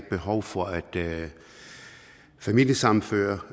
behov for at familiesammenføre